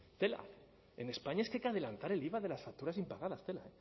tela en españa es que hay que adelantar el iva de las facturas impagadas tela